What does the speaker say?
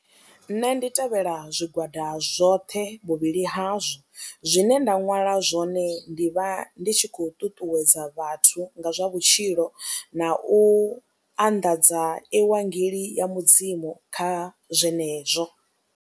Nṋe ndi tevhela zwigwada zwoṱhe vhuvhili hazwo zwine nda ṅwala zwone ndi vha ndi tshi khou ṱuṱuwedza vhathu nga zwa vhutshilo na u anḓadza ivangeli ya Mudzimu kha zwenezwo.